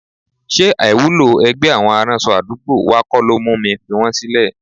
Ṣé àìwúlò ẹgbẹ́ àwọn aránṣọ àdúgbò wa kọ́ ló mú mi fi wọn sílẹ̀?